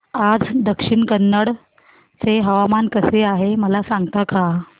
आज दक्षिण कन्नड चे हवामान कसे आहे मला सांगता का